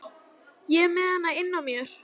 Ég er með hana innan á mér.